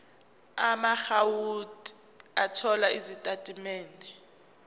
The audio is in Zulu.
amaakhawunti othola izitatimende